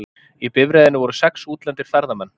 Í bifreiðinni voru sex útlendir ferðamenn